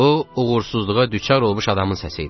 Bu uğursuzluğa düçar olmuş adamın səsi idi.